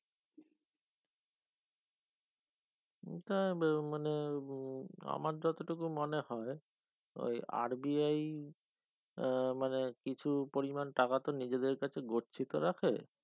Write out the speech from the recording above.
ওটা বা মানে উহ আমার যত টুকু মনে হয় ওই RBI আহ মানে কিছু পরিমান টাকাতো নিজেদের কাছে গচ্ছিত রাখে